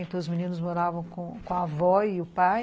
Então, os meninos moravam com a avó e o pai.